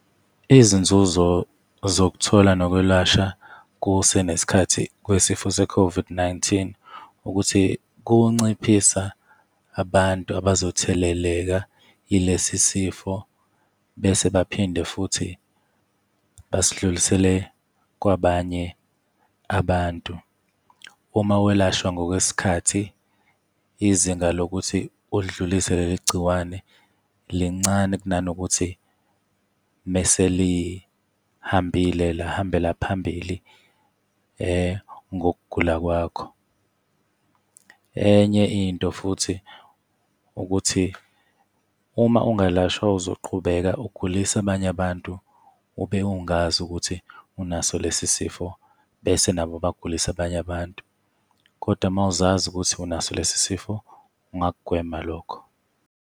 Izinzuzo zokuthola nokwelashwa kusenesikhathi kwesifo se-COVID-19 ukuthi kunciphisa abantu abazotheleleka yilesi sifo, bese baphinde futhi basidlulisele kwabanye abantu. Uma welashwa ngokwesikhathi, izinga lokuthi udlulise leli gciwane lincane kunanokuthi mese lihambile, lahambela phambili ngokugula kwakho. Enye into futhi ukuthi uma ungalashwa uzoqhubeka ugulise abanye abantu ube ungazi ukuthi unaso lesi sifo, bese nabo bagulise abanye abantu. Koda uma uzazi ukuthi unaso lesi sifo ungakugwema lokho.